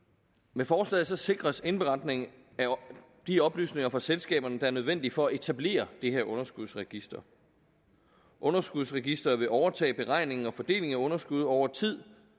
med forslaget sikres indberetning af de oplysninger fra selskaberne der er nødvendige for at etablere det her underskudsregister underskudsregisteret vil overtage beregningen og fordelingen af underskud over tid